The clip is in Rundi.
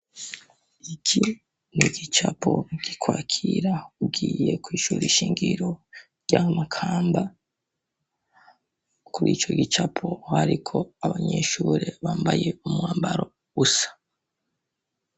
Iki n'igicapo kikwakira ugiye kw'ishuri shingiro rya Makamba, kurico gicapo hariko abanyeshure bambaye umwambaro usa.